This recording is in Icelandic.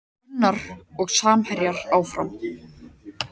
Gunnar og samherjar áfram